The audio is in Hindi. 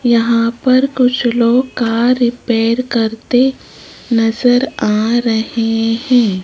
यहां पर कुछ लोग कार रिपेयर करते नजर आ रहे हैं।